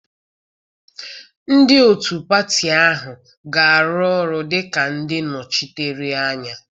Ndị otu pati ahụ ga-arụ ọrụ dị ka ndị nnọchiteanya